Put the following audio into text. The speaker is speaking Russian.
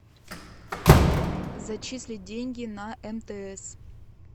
зачислить деньги на мтс